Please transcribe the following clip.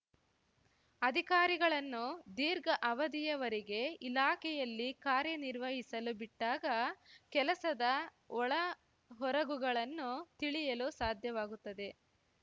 ಅಧಿಕಾರಿಗಳನ್ನು ದೀರ್ಘ ಅವಧಿಯವರೆಗೆ ಇಲಾಖೆಯಲ್ಲಿ ಕಾರ್ಯನಿರ್ವಹಿಸಲು ಬಿಟ್ಟಾಗ ಕೆಲಸದ ಒಳಹೊರಗುಗಳನ್ನು ತಿಳಿಯಲು ಸಾಧ್ಯವಾಗುತ್ತದೆ